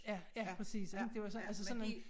Ja ja præcis ikke det så altså sådan noget